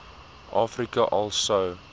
afrika al sou